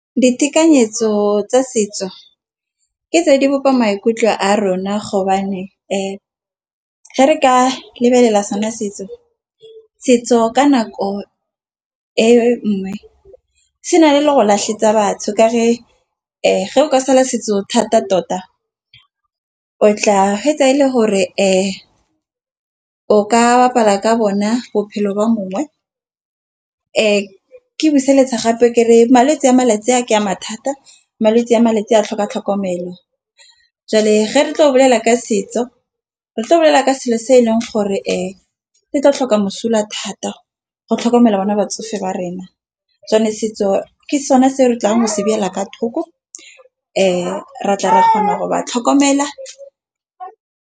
Ditekanyetso tsa setso ke tse di bopa maikutlo a rona ge re ka lebelela sona setso. Setso ka nako e nngwe se na le le go batho ka re eo ge o ka sala setso thata tota. O tla fetsa e le gore fa o ka bapala ka bona bophelo ba mongwe ke buseletsa gape kere malwetse ke a mathata. Malwetse a malatsi a na a tlhoka tlhokomelo, jwale ge re tlo bolela ka setso re tla bolela ka selo se e leng gore e ke tla tlhoka mosola thata go tlhokomela bona batsofe ba rena. Setso ke sone se re tlang go shebelela kwa thoko ra tla ra kgona gore ba tlhokomela.